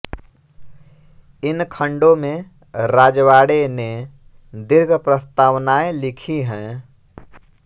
इन खण्डों में राजवाड़े ने दीर्घ प्रस्तावनाएँ लिखी हैं